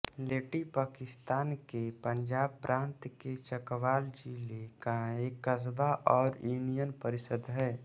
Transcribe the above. लेटी पाकिस्तान के पंजाब प्रांत के चकवाल ज़िले का एक कस्बा और यूनियन परिषद् है